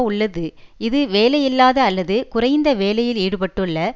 உள்ளது இது வேலையில்லாத அல்லது குறைந்த வேலையில் ஈடுபட்டுள்ள